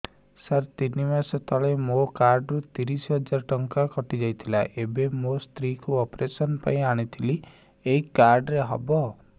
ସାର ତିନି ମାସ ତଳେ ମୋ କାର୍ଡ ରୁ ତିରିଶ ହଜାର ଟଙ୍କା କଟିଯାଇଥିଲା ଏବେ ମୋ ସ୍ତ୍ରୀ କୁ ଅପେରସନ ପାଇଁ ଆଣିଥିଲି ଏଇ କାର୍ଡ ରେ ହବ